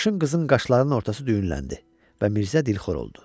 Sarışın qızın qaşlarının ortası düyünləndi və Mirzə dilxor oldu.